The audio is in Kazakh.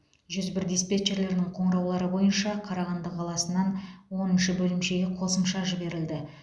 жүз бір диспетчерлерінің қоңыраулары бойынша қарағанды қаласынан оныншы бөлімшеге қосымша жіберілді